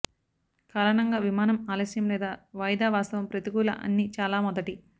కారణంగా విమానం ఆలస్యం లేదా వాయిదా వాస్తవం ప్రతికూల అన్ని చాలా మొదటి